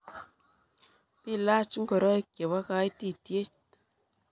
Bilach ngoroik chebo kaitityet.